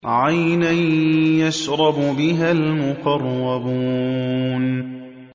عَيْنًا يَشْرَبُ بِهَا الْمُقَرَّبُونَ